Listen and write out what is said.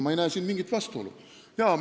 Ma ei näe siin mingit vastuolu.